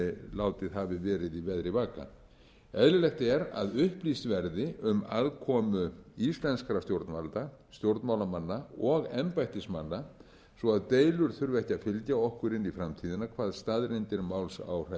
látið hafi verið í veðri vaka eðlilegt er að upplýst verði um aðkomu íslenskra stjórnvalda stjórnmálamanna og embættismanna svo að deilur þurfi ekki að fylgja okkur inn í framtíðina hvað staðreyndir máls